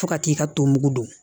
Fo ka t'i ka to mugu don